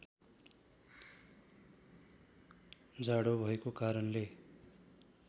जाडो भएको कारणले